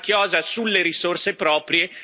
Ultima chiosa sulle risorse proprie.